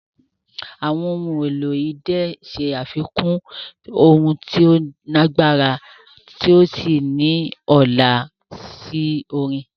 Àwọn ohun èlò idẹ ṣe àfikún ohùn tó lágbára tí ó sì ní ọlá sí orin.